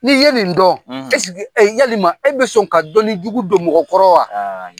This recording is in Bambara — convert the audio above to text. Ni ye nin dɔn eske, yalima e bɛ sɔn ka dɔnni jugu don mɔgɔ kɔrɔ wa?